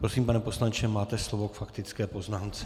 Prosím, pane poslanče, máte slovo k faktické poznámce.